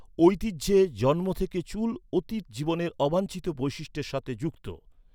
ঐতিহ্যে, জন্ম থেকে চুল অতীত জীবনের অবাঞ্ছিত বৈশিষ্ট্যের সাথে যুক্ত।